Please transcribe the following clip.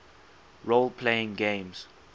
role playing games